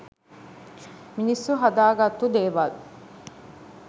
මිනිස්සු හදාගත්තු දේවල්.